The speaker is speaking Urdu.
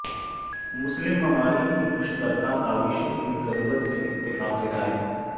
مسلم ممالک کی مشترکہ کاوشوں کی ضرورت سے اتفاق رائے